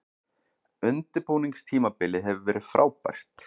Undirbúningstímabilið hefur verið frábært.